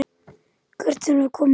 Hvert erum við komin þá?